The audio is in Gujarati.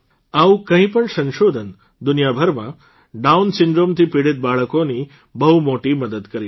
આવું કોઇ પણ સંશોધન દુનિયાભરમાં ડાઉન Syndromeથી પીડીત બાળકોની બહુ મોટી મદદ કરી શકે છે